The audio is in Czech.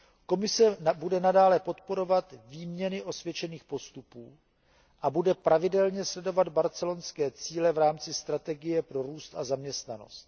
Komise bude nadále podporovat výměny osvědčených postupů a bude pravidelně sledovat barcelonské cíle v rámci strategie pro růst a zaměstnanost.